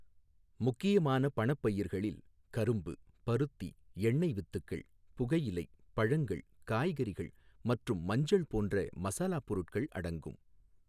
முக்கியமான பணப்பயிர்களில் கரும்பு, பருத்தி, எண்ணெய் வித்துக்கள், புகையிலை, பழங்கள், காய்கறிகள் மற்றும் மஞ்சள் போன்ற மசாலாப் பொருட்கள் அடங்கும்.